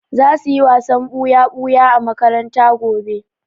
Za su yi wasan ɓuya-ɓuya a makaranta gobe.